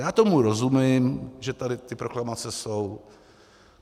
Já tomu rozumím, že tady ty proklamace jsou.